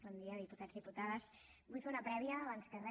bon dia diputats i diputades vull fer una prèvia abans de res